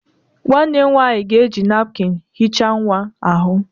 Nwannem nwanyi ga-eji napụkịn hichaa nwa ahu.